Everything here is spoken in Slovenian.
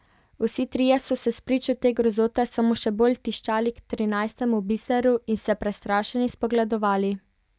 Vsi trije so se spričo te grozote samo še bolj tiščali k trinajstemu biseru in se prestrašeni spogledovali.